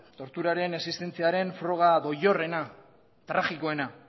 torturaren existentziaren froga doilorrena tragikoena